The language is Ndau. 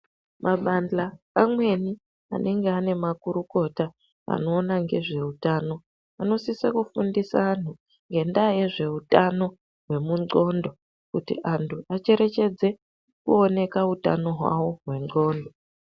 Mabanjwa amweni anenge ane makurukota anoona ngezveutano. Anosisa kufundisa antu ngendaa yezvehutano hwemundxondo. Kuti antu acherechedze kuoneka hutano hwavo hwendxondo.